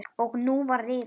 Og nú var rifist.